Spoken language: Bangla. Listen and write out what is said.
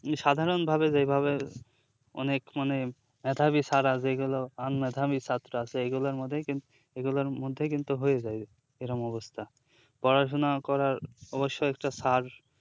সাধারণ ভাবে যেই ভাবে অনেক মানে মেধাবী ছাড়া যেগুলো un মেধাবী ছাত্র আছে এগুলোর মধ্যে কিন্ এগুলোর মধ্যেই কিন্তু হয়ে যায় এরকম অবস্থা পড়াশুনো করার অবশ্যই একটা sir